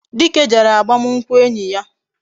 Dike jere agbamunkwu enyi ya